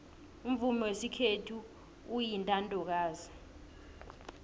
umvumo wesikhethu uyintandokazi